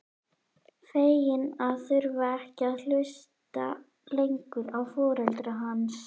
Fegin að þurfa ekki að hlusta lengur á foreldra hans.